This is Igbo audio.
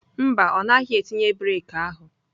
Mba, ọ naghị etinye breeki ahụ.